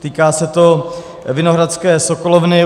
Týká se to Vinohradské sokolovny.